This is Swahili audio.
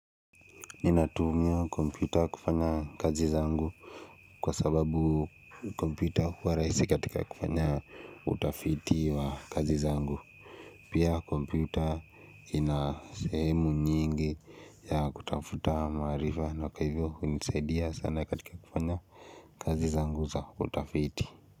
Ninatumia kompyuta kufanya kazi zangu Kwa sababu kompyuta huwa rahisi katika kufanya utafiti wa kazi zangu Pia kompyuta ina sehemu nyingi ya kutafuta maarifa na kwa hivyo hunisaidia sana katika kufanya kazi zangu za utafiti.